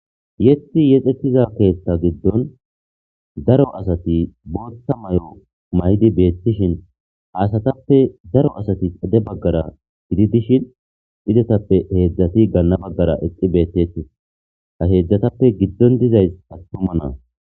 Yeththi yexetiza keeththa giddon daro asati booththa mayo mayidi beetishin ha asatappe daro asati xade baggara gididi dishin izetappe heedzdzati ganna baggara eqqi beetettees ha heedzdzatape giddon dizayssi attuma na'a.